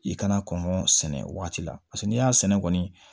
I kana kɔngɔ sɛnɛ o waati la paseke n'i y'a sɛnɛ kɔni